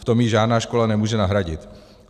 V tom ji žádná škola nemůže nahradit.